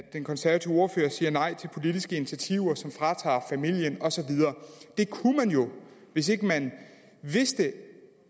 den konservative ordfører siger nej til politiske initiativer som fratager familien og så videre hvis ikke man vidste